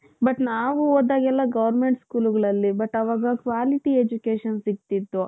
but ನಾವು ಓದಾಗ್ಲೆಲ್ಲ government schoolಗಳಲ್ಲಿ but ಅವಾ quality education ಸಿಕ್ತಿತ್ತು .